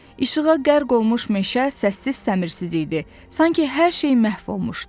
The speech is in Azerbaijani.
İşığa qərq olmuş meşə səssiz səmersiz idi, sanki hər şey məhv olmuşdu.